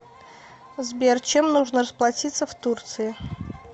сбер чем нужно расплатиться в турции